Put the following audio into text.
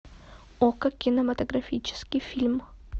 окко кинематографический фильм